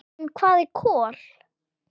En hvað eru kol?